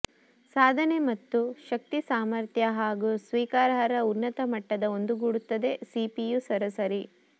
ಸಾಧನೆ ಮತ್ತು ಶಕ್ತಿ ಸಾಮರ್ಥ್ಯ ಮತ್ತು ಸ್ವೀಕಾರಾರ್ಹ ಉನ್ನತ ಮಟ್ಟದ ಒಂದುಗೂಡುತ್ತದೆ ಸಿಪಿಯು ಸರಾಸರಿ